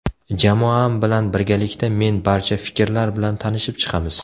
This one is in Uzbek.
Jamoam bilan birgalikda men barcha fikrlar bilan tanishib chiqamiz.